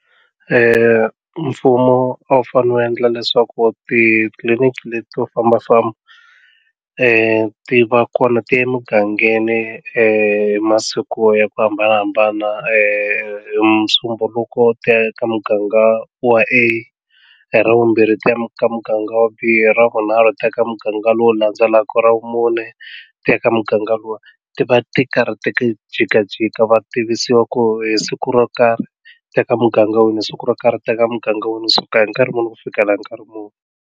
mfumo a wu fanele wu endla leswaku titliliniki leto fambafamba ti va kona ti emugangeni hi masiku ya ku hambanahambana hi musumbunuko ti ya ka muganga wa A hi ra vumbirhi ti ya muganga wa B wa mbirhi hi ra vunharhu ti ya eka muganga lowu landzelaka ra vumune ti ya ka muganga lowu ti va ti karhi ti jikajika va tivisiwa ku hi siku ro karhi eka muganga wini hi siku ro karhi ti ya eka muganga wini hi suka hi nkarhi muni ku fikela hi nkarhi muni.